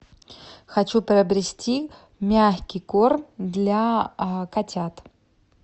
хочу приобрести мягкий корм для котят